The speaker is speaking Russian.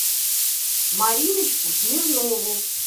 мариночку смирнову